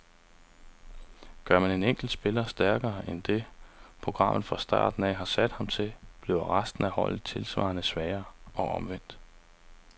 Gør man en enkelt spiller stærkere end det, programmet fra starten har sat ham til, bliver resten af holdet tilsvarende svagere, og omvendt.